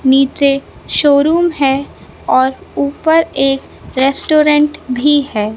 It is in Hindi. नीचे शोरूम है और ऊपर एक रेस्टोरेंट भी है।